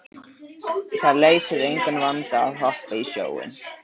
Það leysir engan vanda að hoppa í sjóinn.